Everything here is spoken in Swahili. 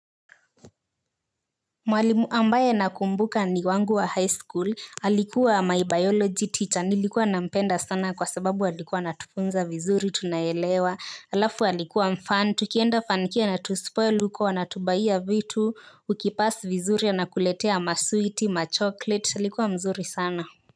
Mwalimu ambaye nakumbuka ni wangu wa high school alikuwa my biology teacher nilikuwa nampenda sana kwa sababu alikuwa anatufunza vizuri tunaelewa halafu alikuwa mfun tukienda funky anatuspoil huko anatubaiya vitu ukipass vizuri anakuletea maswiti machokoleti alikuwa mzuri sana.